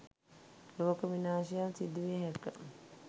ලෝක විනාශයක් සිදුවිය හැක